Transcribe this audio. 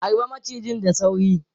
Harbe macijin da sauri!